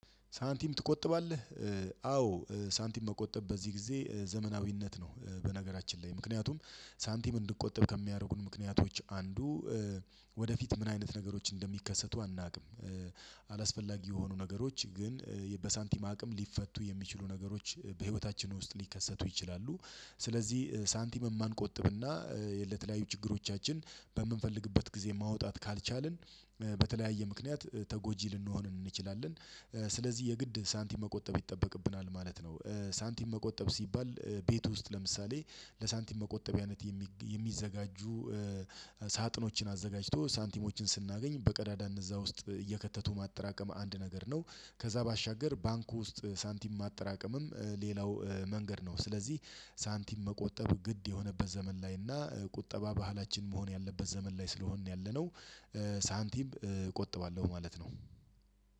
ሳንቲም ትቆጥባለህ? እ አዎ ሳንቲም መቆጠብ በዚህ ጊዜ ዘመናዊነት ነው። በነገራችን ላይ ምክንያቱም ሳንቲም እንድቆጥብ ከሚያደርጉን ምክንያቶች አንዱ ወደፊት ምን አይነት ነገሮች እንደሚከሰቱ አናውቅም አላስፈላጊ የሆኑ ነገሮች ግን በሳንቲም አቅም ሊፈቱ የሚችሉ ነገሮች በህይወታችን ውስጥ ሊከሰቱ ይችላሉ ስለዚህ ሳንቲም የማንቆጥብ እና ለተለያዩ ችግሮቻችን በምንፈልግበት ጊዜ ማውጣት ካልቻልን በተለያየ ምክንያት ተጎጂ ልንሆን እንችላለን ስለዚህ የግድ ሳንቲም መቆጠብ ይጠበቅብናል ማለት ነው። ሳንቲም መቆጠብ ሲባል ቤት ውስጥ ለምሳሌ ለሳንቲም መቆጠቢያነት የሚ የሚዘጋጁ ሳጥኖችን አዘጋጅቶ ሳንቲሞችን ስናገኝ በቀዳዳ እነዛ ውስጥ እየከተቱ ማጠራቀም አንድ ነገር ነው ከዛ ባሻገር ባንክ ውስጥ ሳንቲም ማጠራቀምም ሌላው መንገድ ነው ስለዚህ ሳንቲም መቆጠብ ግድ የሆነበት ዘመን ላይ እና ቁጠባ ባህላችን መሆን ያለበት ዘመን ላይ ስለሆንን ያለነው እ ሳንቲም እቆጥባለሁ ማለት ነው።